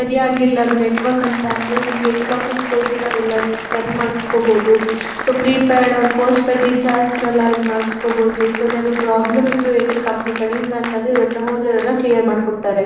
ಸರಿಯಾಗ್ಲಿಲ ಅದು ನೆಟ್ವರ್ಕ್ ಅಂತ ಅಂದ್ರೆ ಇಲ್ಲಿ ಏರ್ಟೆಲ್ ಆಫೀಸ್ ಹೋಗಿ ನಾವು ಎಲ್ಲನ ಸರಿ ಮಾಡಸ್ಕೊಬಹುದು. So prepaid or postpaid recharge ನೆಲ ಇಲ್ ಮಾಡಸ್ಕೊಬಹುದು. ಸೊ ಏನಾದ್ರು ಪ್ರಾಬ್ಲಮ್ ಇತ್ತು ಏರ್ಟೆಲ್ ಕಂಪನಿ ಕಡೆ ಇಂದ ಅಂತ ಅಂದ್ರೆ ಇವರ ಅತ್ರ ಹೋದ್ರೆ ಇವರ ಎಲ್ಲ ಕ್ಲಿಯರ್ ಮಾಡಕೊಡ್ತಾರೆ.